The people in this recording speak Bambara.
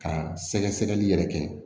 Ka sɛgɛsɛgɛli yɛrɛ kɛ